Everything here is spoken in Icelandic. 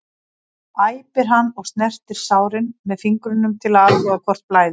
æpir hann og snertir sárin með fingrunum til að athuga hvort blæði.